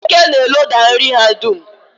Eke na-eloda nri ha dum.